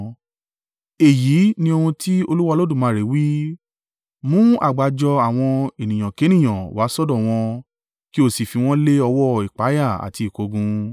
“Èyí ni ohun tí Olúwa Olódùmarè wí: Mú àgbájọ àwọn ènìyànkénìyàn wá sọ́dọ̀ wọn ki ó sì fi wọn lé ọwọ́ ìpayà àti ìkógun.